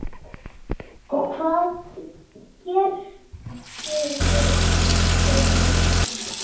Og hvað gerðuð þér svo?